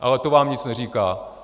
Ale to vám nic neříká.